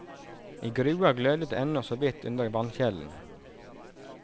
I grua glødet det ennå såvidt under vannkjelen.